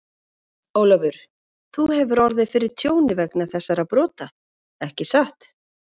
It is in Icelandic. Ólafur, þú hefur orðið fyrir tjóni vegna þessara brota, ekki satt?